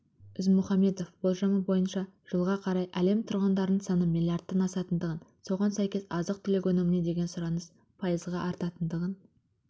ізмұхамбетов болжамы бойынша жылға қарай әлемтұрғындарының саны миллиардтан асатындығын соған сәйкес азық-түлікөніміне деген сұраныс пайызға артатындығын